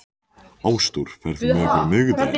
Ásdór, ferð þú með okkur á miðvikudaginn?